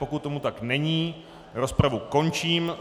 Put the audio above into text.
Pokud tomu tak není, rozpravu končím.